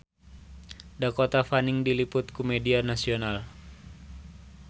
Dakota Fanning diliput ku media nasional